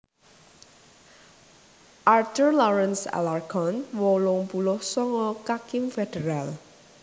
Arthur Lawrence Alarcon wolung puluh songo kakim féderal